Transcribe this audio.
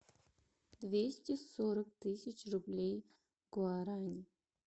двести сорок тысяч рублей в гуарани